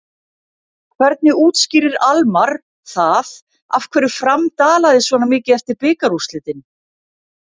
Hvernig útskýrir Almarr það af hverju Fram dalaði svona mikið eftir bikarúrslitin?